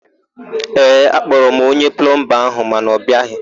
Ee, akpọrọ m onye plọmba áhụ̀ mana ọ bịaghị.